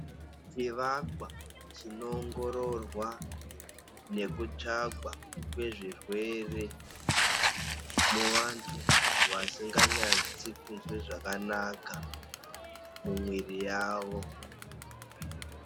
Chivakwa ,chinoongororwa nekutsvagwa kwezvirwere muvantu vasinga nyatsi kunzwa zvakanaka mumuiri yavo.